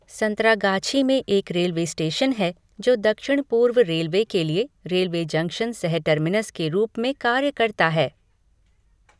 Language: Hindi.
संतरागाछी में एक रेलवे स्टेशन है जो दक्षिण पूर्व रेलवे के लिए रेलवे जंक्शन सह टर्मिनस के रूप में कार्य करता है।